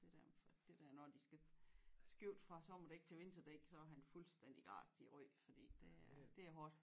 Det der det der når de skal skifte fra sommerdæk til vinterdæk så er han fuldstændig grast i æ ryg fordi det det er hårdt